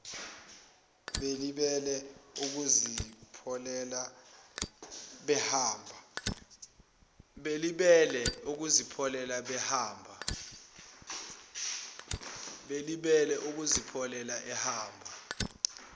belibele ukuzipholela behamba